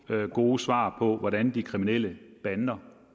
gode svar på hvordan de kriminelle bander